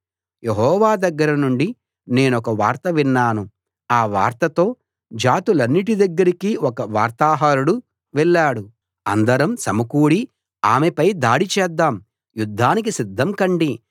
యెహోవా దగ్గర నుండి నేనొక వార్త విన్నాను ఆ వార్తతో జాతులన్నిటి దగ్గరికి ఒక వార్తాహరుడు వెళ్ళాడు అందరం సమకూడి ఆమెపై దాడి చేద్దాం యుద్ధానికి సిద్ధం కండి